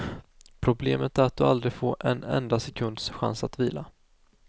Problemet är att du aldrig får en enda sekunds chans att vila.